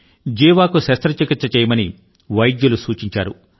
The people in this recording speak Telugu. జీవాకు శస్త్రచికిత్స చేయమని వైద్యులు సూచించారు